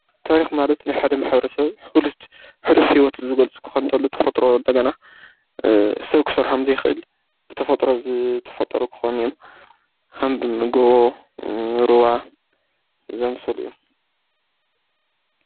ታሪኽ ማለት ናይ ሓደ ማሕበረሰብ ሑሉፍ ህይወት ዝገልጹ ክኮን ከሎ ተፈጥሮ እንደገና ሰብ ክሰርሖም ዘይክእል ብተፈጥሮ ዝተፈጠሩ ክኾኑ እዮም ከም ጎቦ ሩባ ዝኣመሰሉ እዮም